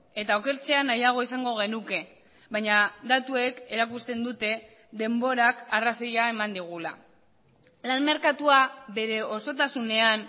eta okertzea nahiago izango genuke baina datuek erakusten dute denborak arrazoia eman digula lan merkatua bere osotasunean